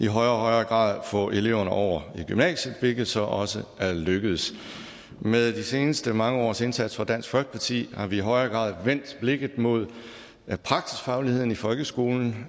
højere grad få eleverne over i gymnasiet hvilket så også er lykkedes med de seneste mange års indsats fra dansk folkeparti har vi i højere grad vendt blikket mod praksisfagligheden i folkeskolen